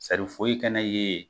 foyi kana ye yen